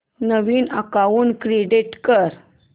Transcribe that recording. नवीन account create कर